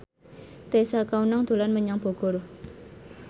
Tessa Kaunang dolan menyang Bogor